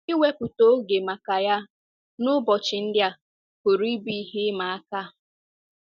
Iwepụta oge maka ya n’ụbọchị ndị a pụrụ ịbụ ihe ịma aka.